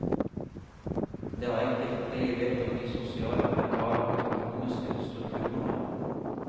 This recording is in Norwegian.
Det er enkelt, fordi jeg vet om de sosiale, mentale og økonomiske strukturene.